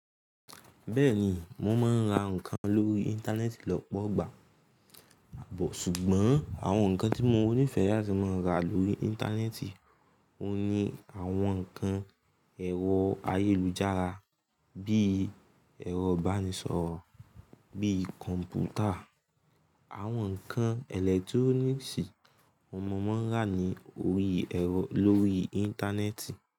Bẹ́ẹ̀ni, mo máa ń ra ǹkan lórí Íńtánẹ́ẹ̀tì lọ́pọ̀ ìgbà, ṣùgbọ́n àwọn nǹkan tí mo nífẹẹ láti máa ra lórí Íńtánẹ́ẹ̀tì, won ni àwọn ǹkan ẹ̀rọ ayélujára bí ẹ̀rọ ìbánisọ̀rọ̀, bí kọ̀m̀pútà, àwọn ǹkan ẹ̀lẹ́túróníìsì, mo máa ń rà ní orí ẹ̀rọ- lórí Íńtánẹ́ẹ̀tì.